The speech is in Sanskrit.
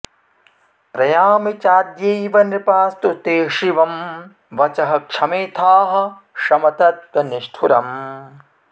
प्रयामि चाद्यैव नृपास्तु ते शिवं वचः क्षमेथाः शमतत्त्वनिष्ठुरम्